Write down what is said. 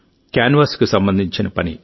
కాన్వాస్కు సంబంధించిన పని